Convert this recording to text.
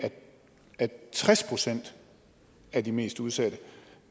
at tres procent af de mest udsatte